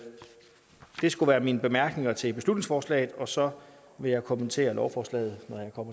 skulle være mine bemærkninger til beslutningsforslaget og så vil jeg kommentere lovforslaget